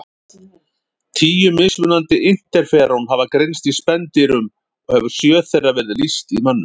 Tíu mismunandi interferón hafa greinst í spendýrum og hefur sjö þeirra verið lýst í mönnum.